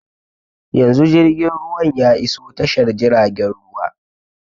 Yanzu jirgin ruwan ya iso tashar jiragen ruwa